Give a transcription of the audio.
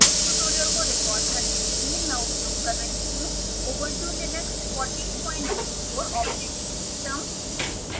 इस ट्यूटोरियल को रिकॉर्ड करने के लिए मैं उपयोग कर रही हूँ